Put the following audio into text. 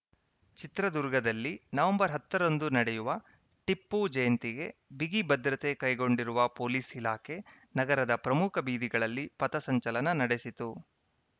ಚಿತ್ರದುರ್ಗದಲ್ಲಿ ನವೆಂಬರ್ ಹತ್ತರಂದು ನಡೆಯುವ ಟಿಪ್ಪುಜಯಂತಿಗೆ ಬಿಗಿ ಭದ್ರತೆ ಕೈಗೊಂಡಿರುವ ಪೊಲೀಸ್‌ ಇಲಾಖೆ ನಗರದ ಪ್ರಮುಖ ಬೀದಿಗಳಲ್ಲಿ ಪಥಸಂಚಲನ ನಡೆಸಿತು